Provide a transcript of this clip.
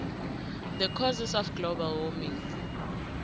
the causes of global warming